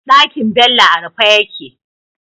Ɗakin Bello a rufe yake